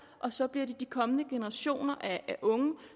og så bliver det de kommende generationer af unge